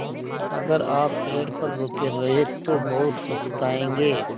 अगर आप पेड़ पर रुके रहे तो बहुत पछताएँगे